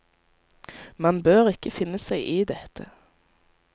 Man bør ikke finne seg i dette.